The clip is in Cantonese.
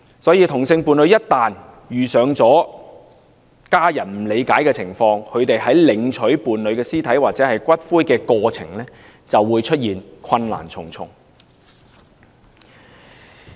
所以同性伴侶一旦遇上伴侶家人不理解的情況，他們在領取伴侶屍體或骨灰的過程便會困難重重。